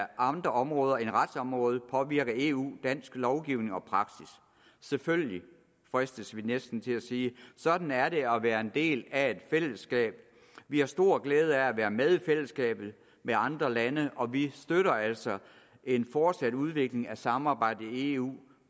andre områder end retsområdet påvirker eu dansk lovgivning og praksis selvfølgelig fristes vi næsten til at sige sådan er det at være en del af et fællesskab vi har stor glæde af at være med i fællesskabet med andre lande og vi støtter altså en fortsat udvikling af samarbejdet i eu